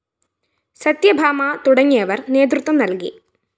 സത്യഭാമ തുടങ്ങിയവര്‍ നേതൃത്വം നല്‍കി